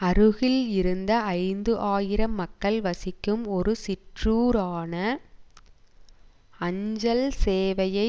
அருகில் இருந்த ஐந்து ஆயிரம் மக்கள் வசிக்கும் ஒரு சிற்றூரான அஞ்சல் சேவையை